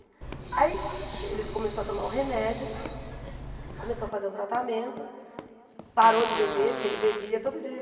Aí ele começou a tomar o remédio, começou a fazer um tratamento, parou de beber, porque ele bebia todo dia.